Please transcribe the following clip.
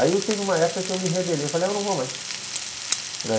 Aí teve uma época que eu me rebelei, falei, eu não vou mais.